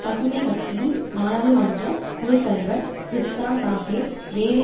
பசுமை கட்சியின் நாடாளுமன்ற குழு தலைவர் கிரிஸ்டா சாகேர் வேலை